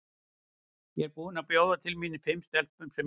Ég var búin að bjóða til mín fimm stelpum sem ég þekki.